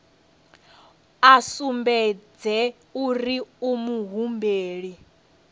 a sumbedze uri u muhumbeli